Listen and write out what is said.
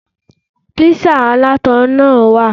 There's peppered pizza too.